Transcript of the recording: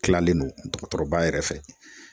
Kilalen don dɔgɔtɔrɔba yɛrɛ fɛ.